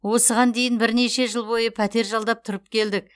осыған дейін бірнеше жыл бойы пәтер жалдап тұрып келдік